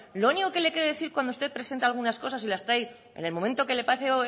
lo único que le he querido decir cuando usted presenta algunas cosas y las trae en el momento que le parece